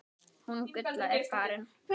Hún Gulla er farin